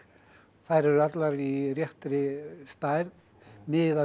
þær eru allar í réttri stærð miðað við